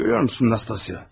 Görürsün Nastasya.